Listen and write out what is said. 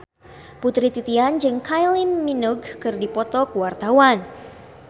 Putri Titian jeung Kylie Minogue keur dipoto ku wartawan